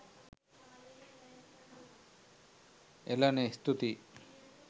එලනේ ස්තුතියි